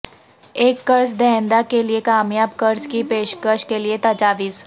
ایک قرض دہندہ کے لئے کامیاب قرض کی پیشکش کے لئے تجاویز